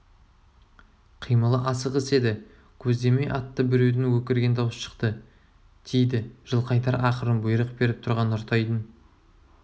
қимылы асығыс еді көздемей атты біреудің өкірген даусы шықты тиді жылқайдар ақырын бұйрық беріп тұрған нұртайдың